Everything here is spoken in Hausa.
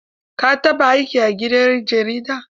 Ka taɓa aiki a gidan jarida?